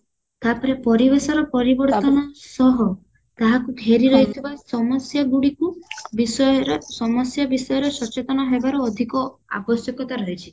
ତାପରେ ପରିବେଶର ପରିବର୍ତନ ସହ ତାହାକୁ ଘେରି ରହିଥିବା ସମସ୍ୟା ଗୁଡିକୁ ବିଷୟର ସମସ୍ୟା ବିଷୟରେ ସଚେତନ ହେବାର ଅଧିକ ଆବଶ୍ୟକତା ରହିଚି